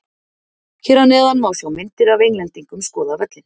Hér eð neðan má sjá myndir af Englendingum skoða völlinn.